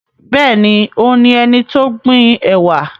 Bẹ́ẹ̀ni, òun ni ẹnití ó gbin ẹ̀wà